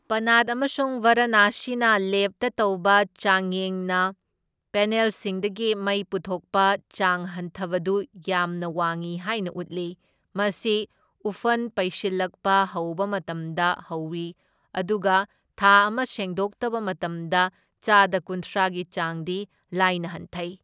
ꯄꯅꯥꯠ ꯑꯃꯁꯨꯡ ꯕꯥꯔꯥꯅꯥꯁꯤꯅ ꯂꯦꯕꯇ ꯇꯧꯕ ꯆꯥꯡꯌꯦꯡꯅꯄꯦꯅꯦꯜꯁꯤꯡꯗꯒꯤ ꯃꯩ ꯄꯨꯊꯣꯛꯄ ꯆꯥꯡ ꯍꯟꯊꯕꯗꯨ ꯌꯥꯝꯅ ꯋꯥꯡꯢ ꯍꯥꯏꯅ ꯎꯠꯂꯤ, ꯃꯁꯤ ꯎꯐꯟ ꯄꯩꯁꯜꯂꯛꯄ ꯍꯧꯕ ꯃꯇꯝꯗ ꯍꯧꯢ ꯑꯗꯨꯒ ꯊꯥ ꯑꯃ ꯁꯦꯡꯗꯣꯛꯇꯕ ꯃꯇꯝꯗ ꯆꯥꯗ ꯀꯨꯟꯊ꯭ꯔꯥ ꯒꯤ ꯆꯥꯡꯗꯤ ꯂꯥꯏꯅ ꯍꯟꯊꯩ꯫